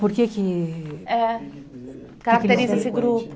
Por que que... É. Caracteriza esse grupo?